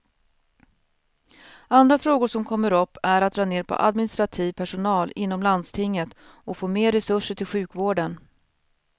Andra frågor som kommer upp är att dra ner på administrativ personal inom landstinget och få mer resurser till sjukvården.